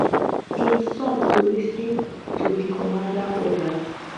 im son to lis ten to di commander orders